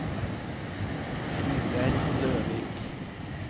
Ingjerd Løvik